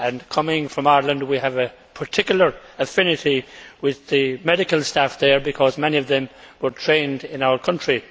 Coming from Ireland, we have a particular affinity with the medical staff there because many of them were trained in our country.